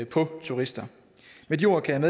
på turister med de ord kan